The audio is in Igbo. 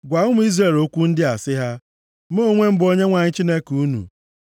“Gwa ụmụ Izrel okwu ndị a sị ha, ‘Mụ onwe m bụ Onyenwe anyị Chineke unu.